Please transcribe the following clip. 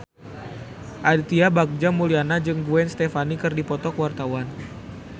Aditya Bagja Mulyana jeung Gwen Stefani keur dipoto ku wartawan